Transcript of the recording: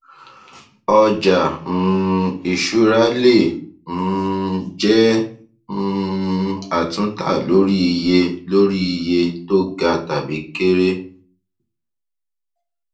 ọjà um ìṣúra le um jẹ um àtúntà lórí iye lórí iye tó ga tàbí kere